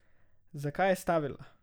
Zakaj je stavila?